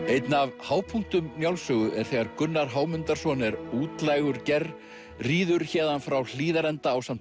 einn af hápunktum Njálssögu er þegar Gunnar Hámundarson er útlægur ger ríður héðan frá Hlíðarenda ásamt